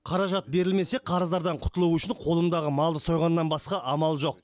қаражат берілмесе қарыздардан құтылу үшін қолымдағы малды сойғаннан басқа амал жоқ